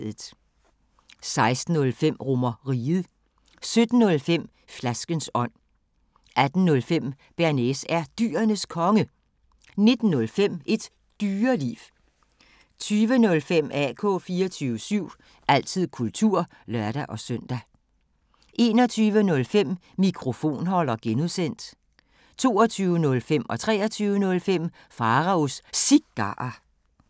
16:05: RomerRiget 17:05: Flaskens ånd 18:05: Bearnaise er Dyrenes Konge 19:05: Et Dyreliv 20:05: AK 24syv – altid kultur (lør-søn) 21:05: Mikrofonholder (G) 22:05: Pharaos Cigarer 23:05: Pharaos Cigarer